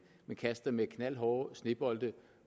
men kaster med knaldhårde snebolde